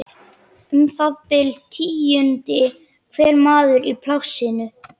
Um það bil tíundi hver maður í plássinu.